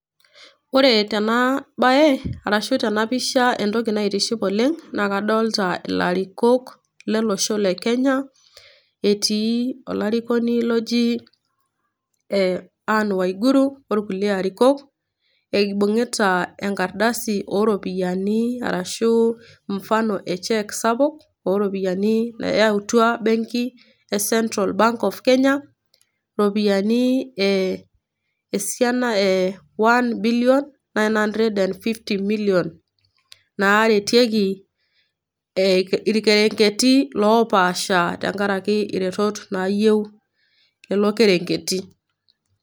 Ore tena bae tena pisha entoki naitiship oleng' naa kadolita ilarikok lolosho le Kenya, etii olarikoni oji Ann waiguru o kulie arikok, eibung'ita enkardasi o iropiani ashu Mfano e cheque sapuk o iropiani nayautua benki e Central Bank of Kenya, iropiani e esianna e one billion, nine hundred and fifty million naaretieki ilkerenketi loopasha tenkaraki iretot nayiou Nena kerenketi.